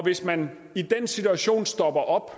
hvis man i den situation stopper op